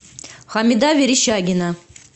хамида верещагина